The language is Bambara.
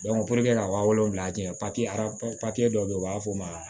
ka wa wolonwula jan arabu papiye dɔ be yen u b'a fɔ ma